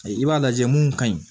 I b'a lajɛ mun ka ɲi